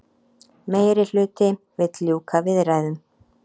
Meirihluti vill ljúka viðræðum